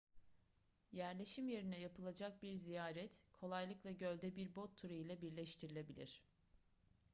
yerleşim yerine yapılacak bir ziyaret kolaylıkla gölde bir bot turu ile birleştirilebilir